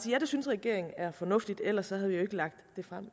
ja det synes regeringen er fornuftigt for ellers havde vi